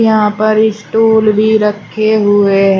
यहां पर इस्टूल भी रखे हुए हैं।